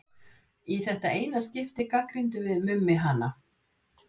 Í þetta eina skipti gagnrýndum við Mummi hana.